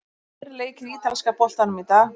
Það voru tveir leikir í ítalska boltanum í dag.